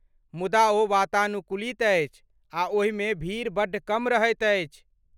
मुदा ओ वातानुकूलित अछि आ ओहिमे भीड़ बड्ड कम रहैत अछि।